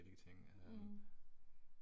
Mh